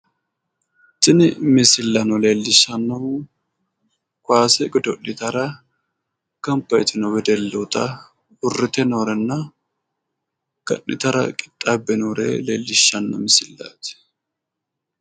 Tini misilanno leellishshannohu kaase godo'litara gamba yitino wedellooota uurrite noorenna ga'nitara qixaabbe noore leellishshanno misilaati.